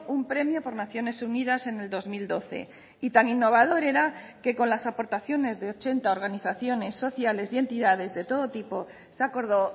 un premio por naciones unidas en el dos mil doce y tan innovador era que con las aportaciones de ochenta organizaciones sociales y entidades de todo tipo se acordó